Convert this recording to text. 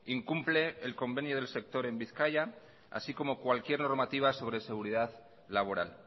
incumple el convenio del sector en bizkaia así como cualquier normativa sobre seguridad laboral